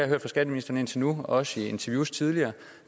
hørt fra skatteministeren indtil nu og også i interviews tidligere